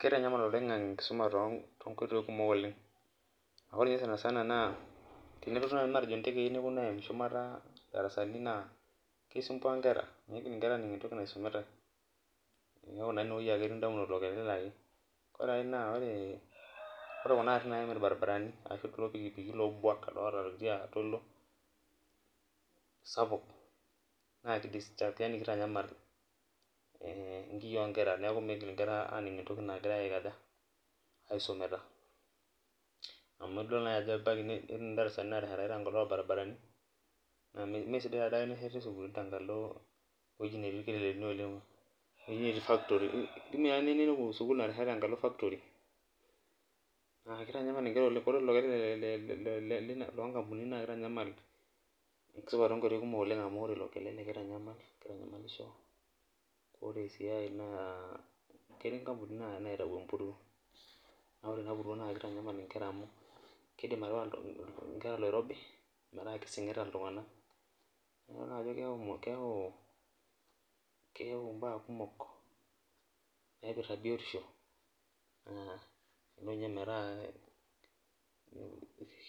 Keitanyamal oleng enkisuma tonkoitoi kumok oleng ,ore naji matejo teneponu ntekei neponu aim shumata ndarasani naa keisumbua nkera ,meidim nkera aning entoki naisumitae neeku naa ineweji ake etii ndamunot, ore aai naa ore kuna garin naim irbaribarani ashu kulo tukituki loobwak loota oltoilo sapuk naa kitanyamal nkiyia onkera neeku migil nkera aning entoki nagirae aisumita. amu idol ajo ebaiki naaji netii ndarasani naateshetani tenkalo irbaribarani naa mesidai taadei tenesheti shukuulini teweji duo netii ,nelo tadii ninepu sukul nasheta tenkalo factory na akitanyamal nkera oleng ,ore ilo kelele naa kitanyamal enkisuma tonkoitoi kumok oleng amu ore ilo kelele naa kitanyamalisho ,ore sii aye naa ketii nkampunini naitau empuruo ,naa ore ena puruo naa kitanyamal nkera amu keidim atipika nkera oloirobi metaa kesingita iltunganak ,emidol na ajo keyau mbaa kumok naipirta biotisho nelo ninye metaa